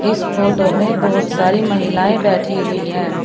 इस फोटो में बहुत सारी महिलाएं बैठी हुई हैं।